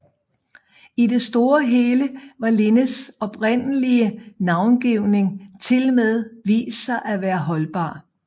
I det store og hele har Linnés oprindelige navngivning tilmed vist sig at være holdbar